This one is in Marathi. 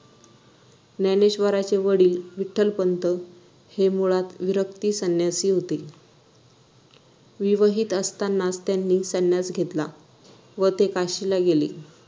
ज्ञानेश्वरांचे वडील विठ्ठलपंत हे मुळातच विरक्त संन्यासी होते विवाहित असतानाच त्यांनी संन्यास घेतला व ते काशीला गेले